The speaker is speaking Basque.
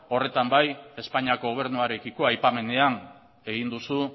horretan bai espainiako gobernuarekiko aipamenean egin duzu